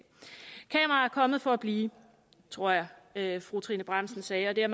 kommet for at blive tror jeg jeg fru trine bramsen sagde og det er